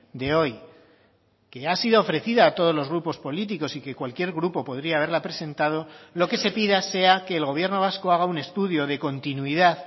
de hoy que ha sido ofrecida a todos los grupos políticos y que cualquier grupo podría haberla presentado lo que se pida sea que el gobierno vasco haga un estudio de continuidad